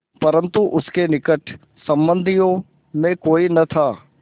परन्तु उसके निकट संबंधियों में कोई न था